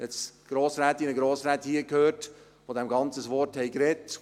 Ich habe jetzt Grossrätinnen und Grossräte gehört, die dem Ganzen das Wort sprachen.